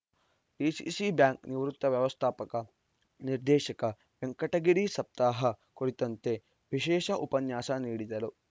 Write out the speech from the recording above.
DCC bank ನಿವೃತ್ತ ವ್ಯವಸ್ಥಾಪಕ ನಿರ್ದೇಶಕ ವೆಂಕಟಗಿರಿ ಸಪ್ತಾಹ ಕುರಿತಂತೆ ವಿಶೇಷ ಉಪನ್ಯಾಸ ನೀಡಿದರು